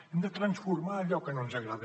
hem de transformar allò que no ens agrada